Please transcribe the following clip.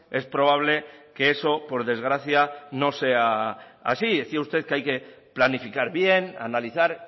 es probable que eso por desgracia no sea así decía usted que hay que planificar bien analizar